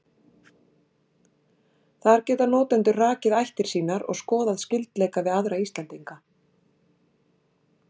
Þar geta notendur rakið ættir sínar og skoðað skyldleika við aðra Íslendinga.